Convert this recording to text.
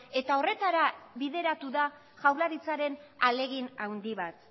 eta horretara bideratu da jaurlaritzaren ahalegin handi bat